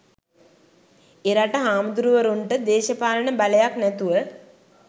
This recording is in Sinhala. එරට හාමුදුරුවරුන්ට දේශපාලන බලයක් නැතුව